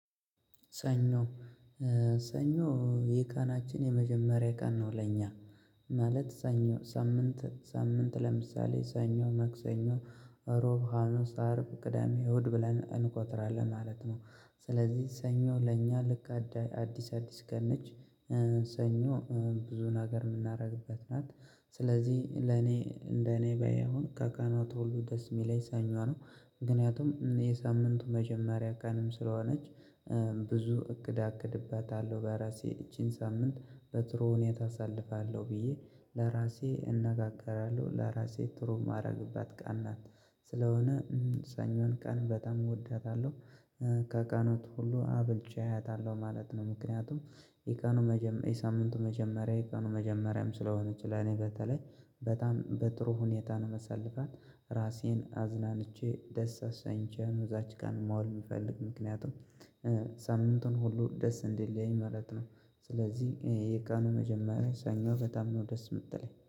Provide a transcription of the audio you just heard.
ሰኞ ሰኞ የቀናችን የመጀመሪያ ቀን ነው። ለኛ ማለት ሰኞ ሳምንት ሳምንት ለምሳሌ ሰኞ መክሰኞ ሮብ ሀሙስ አርብ ቅዳሜ ውእሁድ ብለን እንቆጥራለን ማለት ነው። ስለዚህ ሰኞ ለእኛ ልክ አዳይ አዲስ አዲስ ገነች ሰኞ ብዙን ሀገር የምናደርግበት ናት። ስለዚህ ለኔ እንደኔ በይ አሁን ከቀናት ሁሉ ደስ የሚለኝ ሰኞ ነው። ምክንያቱም የሳምንቱ መጀመሪያ ቀንም ስለሆነች ብዙ እቅድ አቅድባታለሁ በራሴ ይቺን ሳምንት በጥሩ ሁኔታ አሳልፋለሁ ብዬ ለራሴ እነጋገራለሁ። ለራሴ ትሩም አደረግባት ቃል ናት ስለሆነ ሰኞን ቀን በጣም እወዳታለሁ። ከቀናቱ ሁሉ አብልጬ አያታለሁ ማለት ነው። ምክንያቱም የቀኑ መጀመሪያ የሳምንቱ መጀመሪያ የቀኑ መጀመሪያም ስለሆነች ለኔ በተለይ በጣም በጥሩ ሁኔታ ነው። መሰለፈን ራሴን አዝናንቼ ደስ አሳኝቼ እዛች ጋር መዋል የምፈልግ ምክንያቱም ሳምንቱን ሁሉ ደስ እንዲለኝ ማለት ነው። ስለዚህ የቀኑ መጀመሪያ ሰኞ በጣም ነው ደስ የምትለኝ